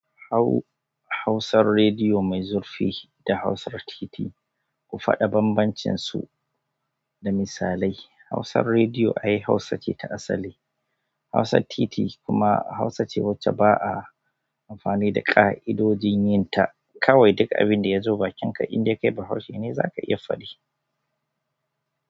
Hau-Hausar rediyo mai zurfi da Hausar titi, ku faɗa banbancinsu da misalai. Hausar rediyo ai Hausa ce ta asali. Hausar titi ai hausa ce wacce ba'a amfani da ƙa'idojin yinta kawai duk abin da ya zo bakinka, indai ka yi, ba Hausashe za ka iya faɗi.